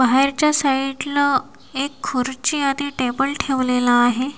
बाहेरच्या साईडला एक खुर्ची आणि टेबल ठेवलेला आहे.